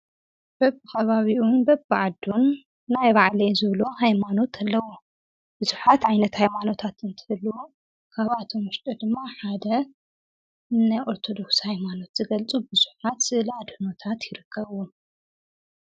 በብ ኻባቢኡን በብ ዓዱን ናይ የባዕለይ ዝብል ሃይማኖት ለዎ ብዙኃት ዓይነት ሃይማኖታት እንትልዎ ካብኣቶም ድማ ሓደ ናይኦርተዱክስ ሃይማኖት ዝገልጹ ብዙኃት ስዕለ ኣድኖታት ይረከብዎ፡፡